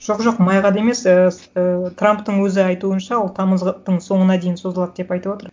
жоқ жоқ майға да емес ііі трамптың өзі айтуынша ол тамыздың соңына дейін созылады деп айтып отыр